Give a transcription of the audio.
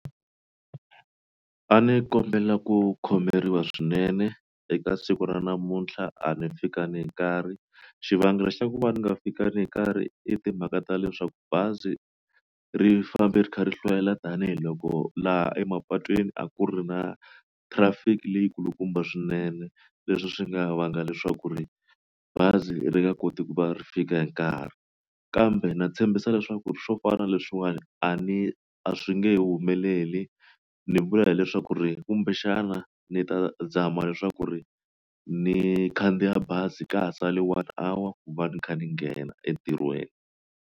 A ni kombela ku khomeriwa swinene eka siku ra namuntlha a ni fikangi hi nkarhi xivangelo xa ku va ni nga fikangi hi nkarhi i timhaka ta leswaku bazi ri fambe ri kha ri hlwela tanihiloko laha emapatwini a ku ri na traffic leyi kulukumba swinene leswi swi nga vanga leswaku ri bazi ri nga koti ku va ri fika hi nkarhi kambe na tshembisa leswaku swo fana na leswiwani a ni a swi nge humeleli ni vula hileswaku ri kumbexana ni ta zama leswaku ri ni khandziya bazi ka ha sale one hour ku va ni kha ni nghena entirhweni.